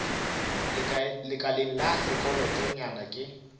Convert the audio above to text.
lekaleng la saekholot nywaga ke